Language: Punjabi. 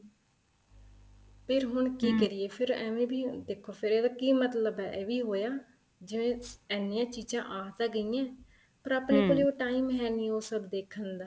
ਫ਼ੇਰ ਹੁਣ ਕੀ ਕਰੀਏ ਫ਼ੇਰ ਐਵੇ ਵੀ ਦੇਖੋ ਫ਼ੇਰ ਇਹਦਾ ਕੀ ਮਤਲਬ ਏ ਇਹ ਵੀ ਹੋਇਆ ਜਿਵੇਂ ਐਨੀਆਂ ਚੀਜ਼ਾਂ ਆ ਤਾਂ ਗਈਆਂ ਏ ਪਰ ਆਪਣੇ ਕੋਲ ਉਹ time ਹੈ ਨਹੀਂ ਉਹ ਸਭ ਦੇਖਣ ਦਾ